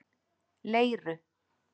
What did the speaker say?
Leiru